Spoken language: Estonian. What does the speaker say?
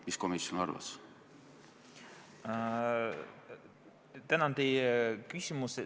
Mis komisjon arvas?